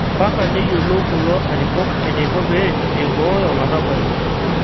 Mpaka neyiolou kulo arikok eneiko pee eibooyo larabali